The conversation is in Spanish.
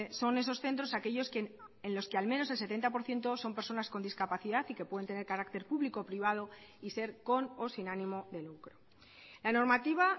son esos centros aquellos en los que al menos el setenta por ciento son personas con discapacidad y que pueden tener carácter público o privado y ser con o sin ánimo de lucro la normativa